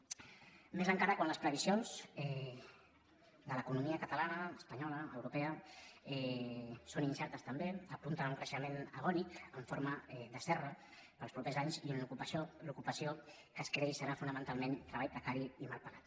més encara quan les previsions de l’economia catalana espanyola europea són incertes també apunten a un creixement agònic en forma de serra per als propers anys i l’ocupació que creix serà fonamentalment treball precari i mal pagada